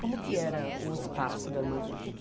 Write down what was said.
Como era o espaço do armazém? Que que